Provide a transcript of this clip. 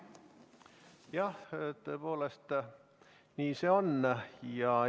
Jah, tõepoolest, nii see on.